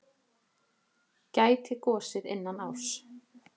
Gæti gosið innan árs